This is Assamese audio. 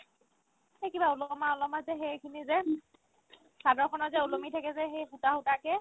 সেই কিবা ওলোমা ওলোমা যে সেইখিনি যে চাদৰখনৰ যে ওলোমি থাকে যে সেই সূতা সূতাকে